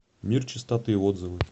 мир чистоты отзывы